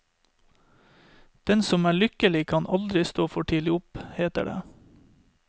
Den som er lykkelig kan aldri stå for tidlig opp, heter det.